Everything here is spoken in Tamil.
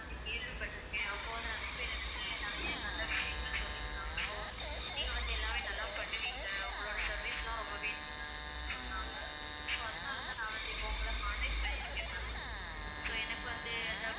வந்து கேள்விப்பட்டிருக்கேன் போன நிறைய பேர் எனக்கு நிறைய நல்ல விஷயங்கள் சொல்லியிருக்காங்க so நீங்க வந்து எல்லாமே நல்லா பண்ணுவீங்க உங்களோட service லாம் ரொம்பவே நல்லாருக்கும்னு சொன்னாங்க so அதனாலதான் நான் வந்து இப்ப உங்களை contact பண்ணியிருக்கேன் ma'am so எனக்கு வந்து அந்த